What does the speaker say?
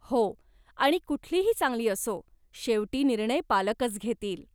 हो, आणि कुठलीही चांगली असो, शेवटी निर्णय पालकच घेतील.